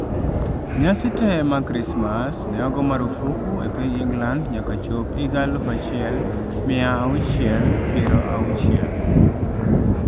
Nyasi te mag krismas ne ogo marufuk e piny England nyaka chop higa aluf achiel mia auchiel piero auchiel